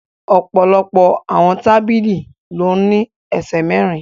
Ọ̀pọ̀lọpọ̀ àwọn tábìlì ló ní ẹsẹ̀ mẹ́rin